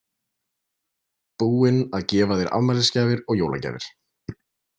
Búinn að gefa þér afmælisgjafir og jólagjafir.